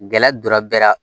Gɛlɛya donna bɛɛ la